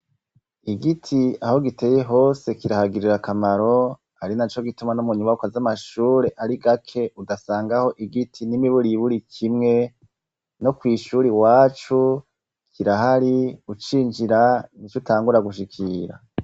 Igiti aho giteye hose kirahagirira kamaro, ari na co gituma n'umunyubaka z'amashure ari gake udasangaho igiti n'imiburi buri kimwe, no kw' ishuri iwacu kirahari ucinjira nic'utangura gushikira.